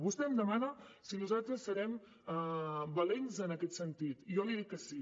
vostè em demana si nosaltres serem valents en aquest sentit i jo li dic que sí